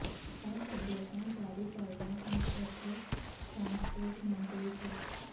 ਇਹ ਹਦਇਤਾਂ ਜਾਰੀ ਕਰਦਿਆਂ ਅੱਜ ਇਥੇ ਟਰਾਂਸਪੋਰਟ ਮੰਤਰੀ ਸ